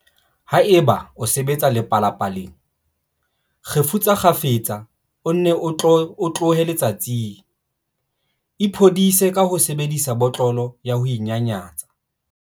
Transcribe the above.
Haeba o sebetsa lepalapa-leng, kgefutsa kgafetsa o nne o tlohe letsatsing. Iphodise ka ho sebedisa botlolo ya ho inyanyatsa.